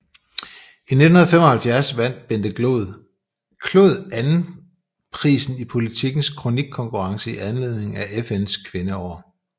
I 1975 vandt Bente Clod anden prisen i Politikens kronikkonkurrence i anledning af FNs Kvindeår